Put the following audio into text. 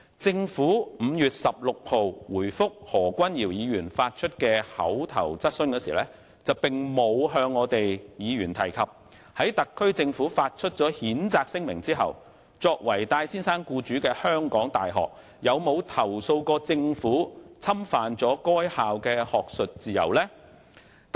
政府於5月16日回覆何君堯議員提出的口頭質詢時，並無向議員提及特區政府發出譴責聲明後，作為戴先生僱主的港大有否投訴政府侵犯該校的學術自由。